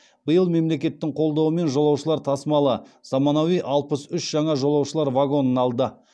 биыл мемлекеттің қолдауымен жолаушылар тасымалы заманауи алпыс үш жаңа жолаушылар вагонын алды